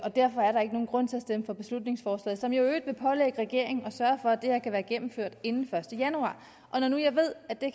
derfor er der ikke nogen grund til at stemme for beslutningsforslaget som jo i øvrigt vil pålægge regeringen at sørge for at det her kan være gennemført inden første januar når nu jeg ved at det